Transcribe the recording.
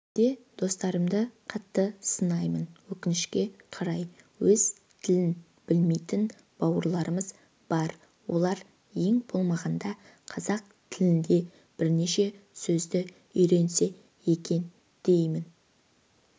кейде достарымды қатты сынаймын өкінішке қарай өз тілін білмейтін бауырларымыз бар олар ең болмағанда қазақ тіліндегі бірнеше сөзді үйренсе екен деймін